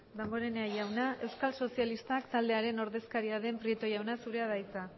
damborena jauna euskal sozialistak taldearen ordezkaria den prieto jauna zurea da hitza